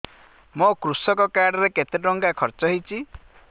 ମୋ କୃଷକ କାର୍ଡ ରେ କେତେ ଟଙ୍କା ଖର୍ଚ୍ଚ ହେଇଚି